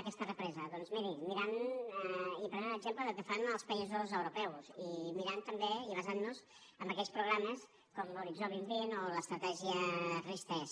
aquesta represa doncs miri mirant i prenent exemple del que fan als països europeus i mirant també i basant nos en aquells programes com l’horitzó dos mil vint o l’estratègia ris3